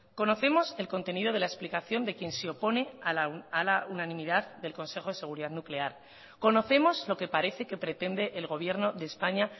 conocemos el contenido de la explicación de quien se opone a la unanimidad del consejo de seguridad nuclear conocemos lo que parece que pretende el gobierno de españa